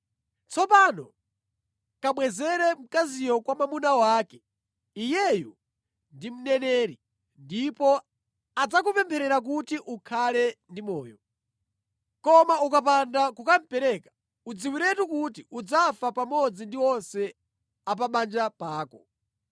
Tsopano kabwezere mkaziyo kwa mwamuna wake. Iyeyu ndi mneneri, ndipo adzakupempherera kuti ukhale ndi moyo. Koma ukapanda kukamupereka, udziwiretu kuti udzafa pamodzi ndi onse a pa banja pako.”